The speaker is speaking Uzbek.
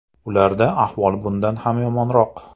Ularda ahvol bundan ham yomonroq.